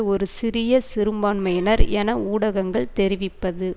ஒரு சிறிய சிறுபான்மையினர் என ஊடகங்கள் தெரிவிப்பது